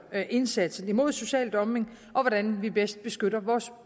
indsatsen mod social dumping og hvordan vi bedst beskytter vores